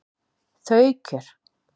Þau kjör